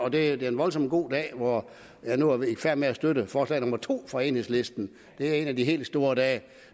at det er en voldsom god dag hvor jeg nu er i færd med at støtte forslag nummer to fra enhedslisten det er en af de helt store dage